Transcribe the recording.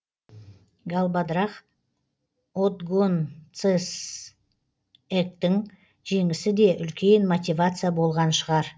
галбадрах отгонцэцэгтің жеңісі де үлкен мотивация болған шығар